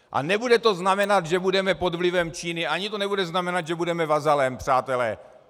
A nebude to znamenat, že budeme pod vlivem Číny, ani to nebude znamenat, že budeme vazalem, přátelé.